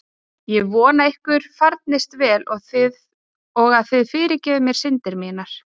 Ég vona að ykkur farnist vel og að þið fyrirgefið mér syndir mínar.